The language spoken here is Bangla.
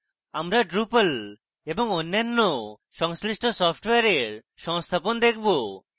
আমরা drupal এবং অন্যান্য সংশ্লিষ্ট সফ্টওয়্যারের সংস্থাপন দেখাবো